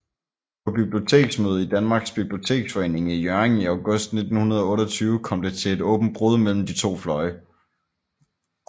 På Biblioteksmødet i Danmarks Biblioteksforening i Hjørring i august 1928 kom det til et åbent brud mellem de to fløje